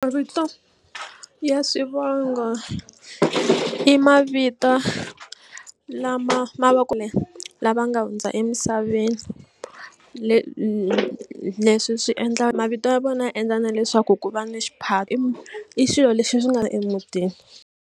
Mavito ya swivongo i mavito lama ma lava nga hundza emisaveni leswi swi endla mavito ya vona ya endla na leswaku ku va na xiphato i swilo leswi swi nga emutini.